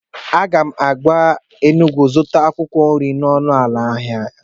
Aga m aga Enugwu zụta akwụkwọ nri n'ọnụ ala n'ahịa ha